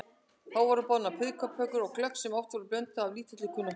Þá voru boðnar piparkökur og glögg sem oft var þó blönduð af lítilli kunnáttu.